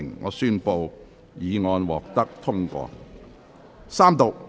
我宣布議案獲得通過。